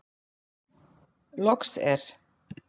Loks er.